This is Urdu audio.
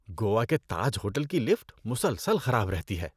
گوا کے تاج ہوٹل کی لفٹ مسلسل خراب رہتی ہے۔